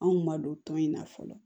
Anw ma don tɔn in na fɔlɔ